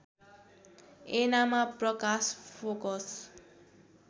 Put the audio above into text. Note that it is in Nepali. ऐनामा प्रकाश फोकस